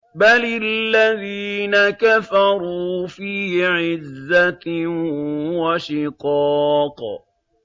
بَلِ الَّذِينَ كَفَرُوا فِي عِزَّةٍ وَشِقَاقٍ